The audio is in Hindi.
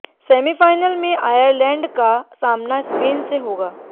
सेमीफाइनल में आयरलैंड का सामना स्पेन से होगा